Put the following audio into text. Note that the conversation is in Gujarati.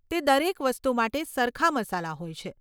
તે દરેક વસ્તુ માટે સરખા મસાલા હોય છે.